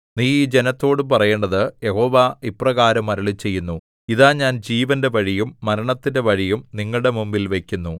നീ ഈ ജനത്തോടു പറയേണ്ടത് യഹോവ ഇപ്രകാരം അരുളിച്ചെയ്യുന്നു ഇതാ ഞാൻ ജീവന്റെ വഴിയും മരണത്തിന്റെ വഴിയും നിങ്ങളുടെ മുമ്പിൽ വയ്ക്കുന്നു